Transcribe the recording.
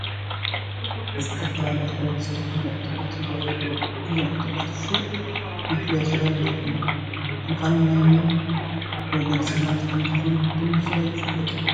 ዝተፈላለየ ሕብሪ ዝተኸደኑ ዕጡቓት ይርአዩ ኣለዉ፡፡ እዞም ዕጡቋት ፍሉጥ መፍለዪ ክዳን ዘይብሎም ብምዃኖም ናይ መን ወገን ሰራዊት ከምዝኾኑ ብንፁር ኣይፍለጡን፡፡